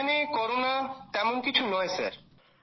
এখানে করোনা তেমন কিছু নয় স্যার